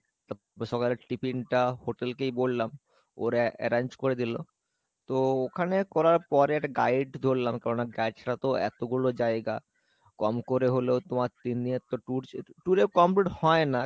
তারপর সকালের tiffin টা hotel কেই বললাম, ওরা arrange করে দিলো তো ওখানে করার পরে একটা guide ধরলাম কারন guide রা তো এতো গুলো জায়গা কম করে হলেও তোমার তিন দিনের তো tour ছিল tour এ কম হয় না